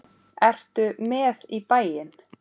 Ertu með í bæinn?